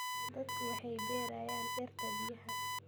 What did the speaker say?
Dadku waxay beerayaan dhirta biyaha.